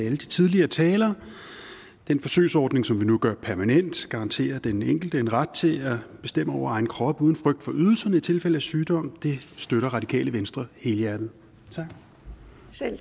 alle de tidligere talere den forsøgsordning som vi nu gør permanent garanterer den enkelte en ret til at bestemme over egen krop uden frygt for ydelser i tilfælde af sygdom og det støtter radikale venstre helhjertet